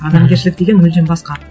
адамгершілік деген мүлдем басқа